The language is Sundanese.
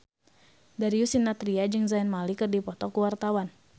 Darius Sinathrya jeung Zayn Malik keur dipoto ku wartawan